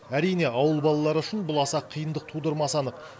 әрине ауыл балалары үшін бұл аса қиындық тудырмасы анық